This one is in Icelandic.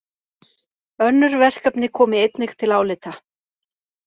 Önnur verkefni komi einnig til álita